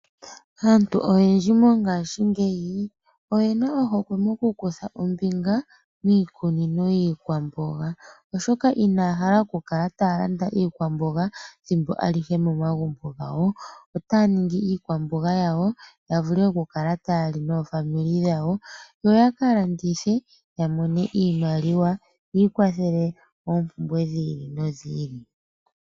Aantu oyendji mongashingeyi oyena ohokwe mokukutha ombinga miikunino yiikwamboga, oshoka inaya hala oku kala taya landa iikwamboga ethimbo alihe momagumbo gawo, otaya ningi iikwamboga yawo ya vule oku kala ta ya li noofamili dhawo yo ya ka landithe ya mone iimaliaya ikwathele moompumbwe dhi ili nodhi ili.